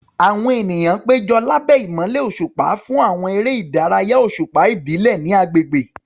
Àwọn ènìyàn péjọ lábẹ́ ìmọ́lẹ̀ òṣùpá fún àwọn eré ìdárayá òṣùpá ìbílẹ̀ ní agbègbè.